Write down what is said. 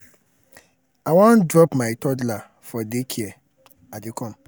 i wan drop my toddler for day care. i dey come.